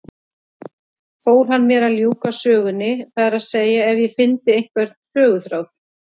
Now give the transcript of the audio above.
Fól hann mér að ljúka sögunni, það er að segja ef ég fyndi einhvern söguþráð.